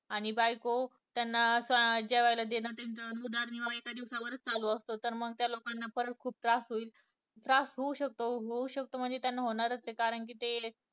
आणि बायको त्यांना अं जेवायला देणं त्यांचा उदरनिर्वाह यांच्यावरच चालू असतो तर मग त्या लोकांना परत खूप त्रास होईल त्रास होऊ शकतो होऊ शकतो म्हणजे त्यांना होणारचं कारण कि ते